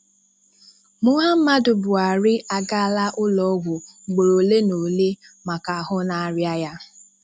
Muhamadu Buhari agaala ụlọọgwụ ugboro ole na ole maka ahụ na-arịa ya